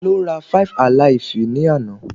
Tá ló rá five-alaifu ni àna?